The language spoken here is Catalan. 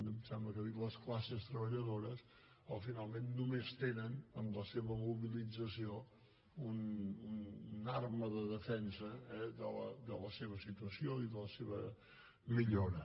em sembla que ha dit les classes treballadores finalment només tenen en la seva mobilització una arma de defensa de la seva situació i de la seva millora